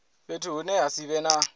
fhethu hune ha si vhe